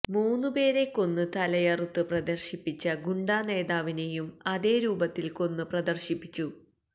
മൂന്ന് പേരെ കൊന്ന് തലയറുത്ത് പ്രദര്ശിപ്പിച്ച ഗുണ്ടാ നേതാവിനേയും അതേ രൂപത്തില് കൊന്ന് പ്രദര്ശിപ്പിച്ചു